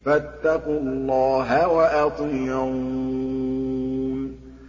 فَاتَّقُوا اللَّهَ وَأَطِيعُونِ